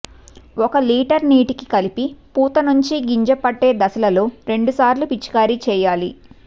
ఒక లీటరు నీటికి కలిపి పూత నుంచి గింజ పట్టే దశలలో రెండుసార్లు పిచికారి చేయాలి